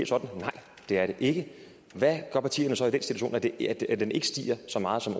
sådan nej det er det ikke hvad gør partierne så i den ikke stiger så meget som